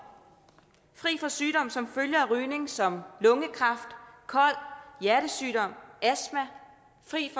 fri for sygdomme som følge af rygning som lungekræft kol hjertesygdomme og fri